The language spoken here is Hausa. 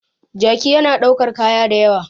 Jaki yana daukar kaya da ywa